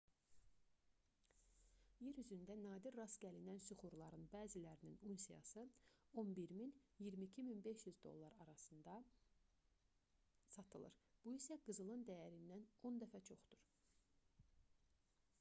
yer üzündə nadir rast gəlinən süxurların bəzilərinin unsiyası 11 000 - 22 500 abş dolları arasında satılır bu isə qızılın dəyərindən 10 dəfə çoxdur